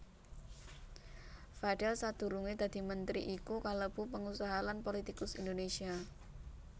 Fadel sadurungé dadi mentri iku kalebu pengusaha lan politikus Indonésia